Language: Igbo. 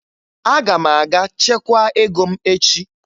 Aga m aga chekwaa ego m echi